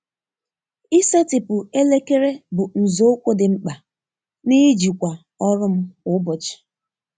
Ịsetịpụ elekere bụ nzọụkwụ dị mkpa n’ijikwa ọrụ m kwa ụbọchị.